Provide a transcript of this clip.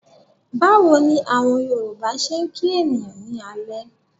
Báwo ni àwọn Yorùbá ṣe ń kí ènìyàn ní alẹ́?